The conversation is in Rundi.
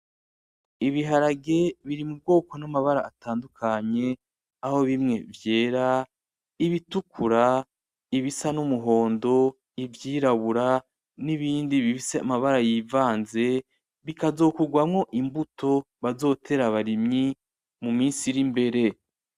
Ibiharage biri m'ubwoko n'amabara atandukanye aho bimwe ;vyera, ibitukura, ibisa n'umuhondo ivyirabura n'ibindi bifise amabara yivanze, Bikazokorwamwo imbuto bazotera abarimyi mu minsi iri imbere.